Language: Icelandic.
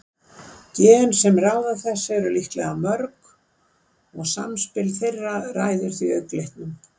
Gen sem ráða þessu eru líklega mörg og samspil þeirra ræður þá augnlitnum.